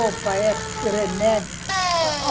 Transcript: É roupa, é remédio.